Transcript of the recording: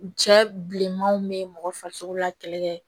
Cɛ bilenmanw bɛ mɔgɔ farisogo la kɛlɛ kɛ